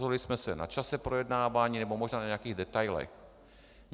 Neshodli jsme se na čase projednávání nebo možná na nějakých detailech.